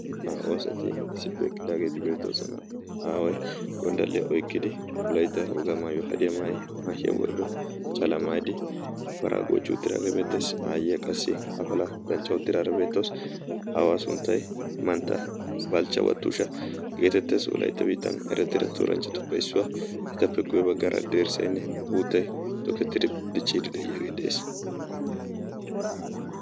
aa oosati issippe eqidaageeti beettoosana. aawai gonddalliyaa oikkidi wolaita wogaa maayua hadiyaa maahiyaa worido calamaidi paraa goochi utiraage beeteesi. aayyiya qassi afala danccau tiraara beettoosi aawaa sunttai mantta balchcha wattuusha geetetteesi. olaitta biitan erattiira tuuranchchatuppeissuwaa etappe guwee baggaara deersseenne uuttai tookettidi dichchiidi de7iyaagee de7ees.